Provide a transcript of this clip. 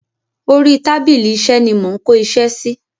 Orí tábìlì iṣẹ́ ni mo ń kó iṣẹ́ sí.